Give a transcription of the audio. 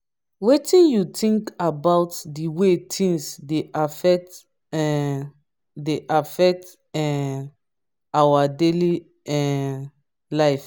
wetin you think about di way tings dey affect um dey affect um our daily um life?